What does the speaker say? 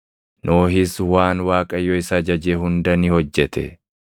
Nohis waan Waaqayyo isa ajaje hunda ni hojjete.